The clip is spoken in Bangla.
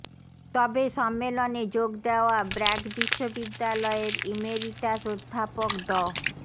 তবে সম্মেলনে যোগ দেওয়া ব্র্যাক বিশ্ববিদ্যালয়ের ইমেরিটাস অধ্যাপক ড